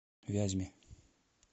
вязьме